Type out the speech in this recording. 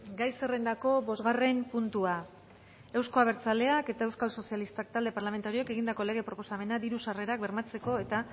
gai zerrendako bosgarren puntua euzko abertzaleak eta euskal sozialistak talde parlamentarioek egindako lege proposamena diru sarrerak bermatzeko eta